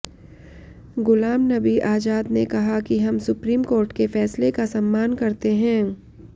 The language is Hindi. गुलाम नबी आजाद ने कहा कि हम सुप्रीम कोर्ट के फैसले का सम्मान करते हैं